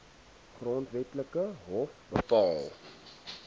grondwetlike hof bepaal